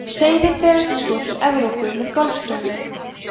seiðin berast svo til evrópu með golfstraumnum